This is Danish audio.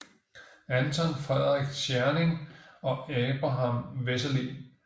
Anton Frederik Tscherning og Abraham Wessely